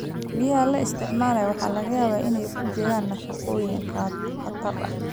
Biyaha la isticmaalo waxaa laga yaabaa inay ku jiraan nafaqooyin khatar ah.